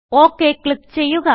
okay click ചെയ്യുക